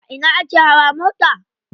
A ina ake hawa mota?